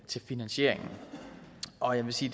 til finansieringen og jeg vil sige